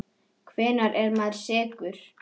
Hvenær er maður sekur?